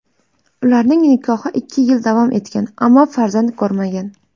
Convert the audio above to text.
Ularning nikohi ikki yil davom etgan, ammo farzand ko‘rmagan.